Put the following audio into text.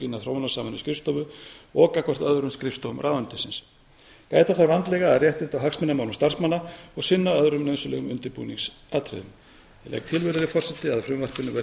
verkaskiptingu innan þróunarsamvinnuskrifstofu og gagnvart öðrum skrifstofum ráðuneytisins gæta þarf vandlega að réttinda og hagsmunamálum starfsmanna og sinna öðrum nauðsynlegum undirbúningsatriðum ég legg til virðulegi forseti